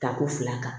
Ta ko fila kan